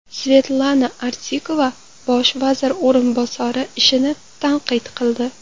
Svetlana Artikova bosh vazir o‘rinbosari ishini tanqid qildi.